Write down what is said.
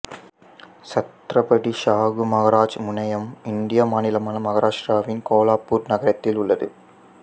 சத்ரபதி ஷாகு மகாராஜ் முனையம் இந்திய மாநிலமான மகாராஷ்டிராவின் கோலாப்பூர் நகரத்தில் உள்ளது